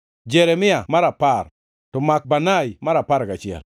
Jeremia mar apar, to Makbanai mar apar gachiel.